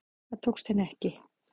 Það tókst henni ekki